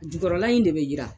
Jukɔrɔla in de bɛ yiran.